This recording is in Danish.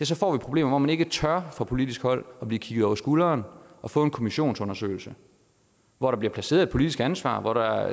så får vi problemer hvor man ikke tør fra politisk hold at blive kigget over skulderen og få en kommissionsundersøgelse hvor der bliver placeret et politisk ansvar hvor der